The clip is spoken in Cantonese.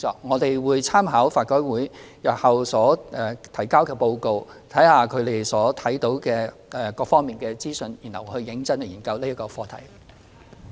我們會參考法改會日後提交的報告，審視所得的各方資訊，然後認真研究這課題。